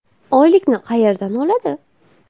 Oylikni qayerdan oladi?